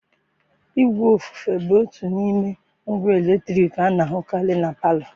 Igwe ofufe bụ otu n'ime ngwa eletriki a na-ahụkarị na palọ.